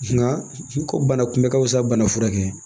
Nka ko bana kunbɛ ka fisa bana furakɛ ye